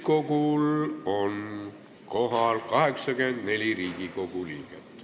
Kohaloleku kontroll Täiskogul on kohal 84 Riigikogu liiget.